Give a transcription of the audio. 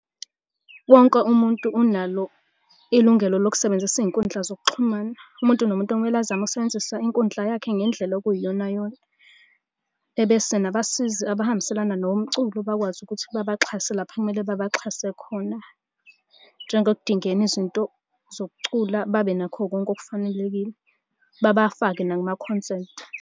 Wonke umuntu unalo ilungelo lokusebenzisa iy'nkundla zokuxhumana, umuntu nomuntu kumele azame ukusebenzisa inkundla yakhe ngendlela okuyiyona yona, ebese nabasizi abahambiselana nomculo bakwazi ukuthi babaxhase lapha okumele babaxhase khona. Njengokudingeni izinto zokucula babe nakho konke okufanelekile. Babafake nakumaconsent.